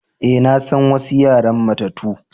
Eh, na san wassu yaran matatu.